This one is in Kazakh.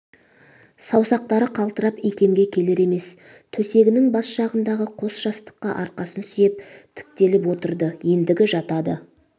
саусақтары қалтырап икемге келер емес төсегінің бас жағындағы қос жастыққа арқасын сүйеп тіктеліп отырды ендігі жатады